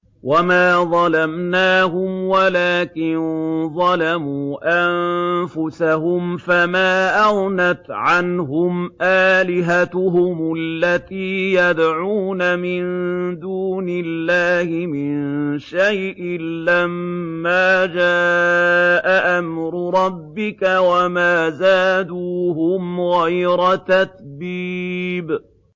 وَمَا ظَلَمْنَاهُمْ وَلَٰكِن ظَلَمُوا أَنفُسَهُمْ ۖ فَمَا أَغْنَتْ عَنْهُمْ آلِهَتُهُمُ الَّتِي يَدْعُونَ مِن دُونِ اللَّهِ مِن شَيْءٍ لَّمَّا جَاءَ أَمْرُ رَبِّكَ ۖ وَمَا زَادُوهُمْ غَيْرَ تَتْبِيبٍ